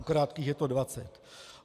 U krátkých je to dvacet.